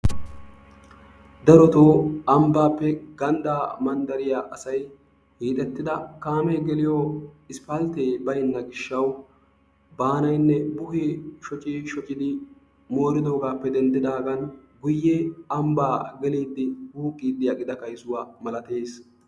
Darotoo ambbaappe ganddaa manddariya asayi hiixettida kaamee geliyo isppalttee gelibeenna gishshawu baanayinne buhee shocii shocidi mooridoogaappe denddidaagan guyye ambbaa gelliiddi wuuqqiiddi aqida kayisuwa malates.